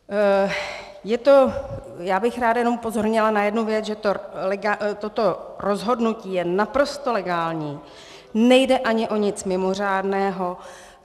Já bych ráda jenom upozornila na jednu věc, že toto rozhodnutí je naprosto legální, nejde ani o nic mimořádného.